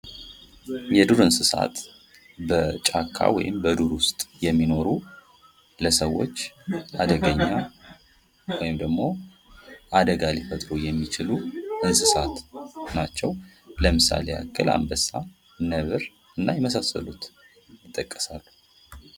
የዱር እንስሳት በጫካ ወይም በዱር ዉስጥ የሚኖሩ ለሰዎች አደገኛ ወይም ደግሞ አደጋ ሊፈጥሩ የሚችሉ እንስሳት ናቸዉ። ለምሳሌ ያክል አንበሳ፣ ነብር እና የመሳሰሉት ይጠቀሳሉ።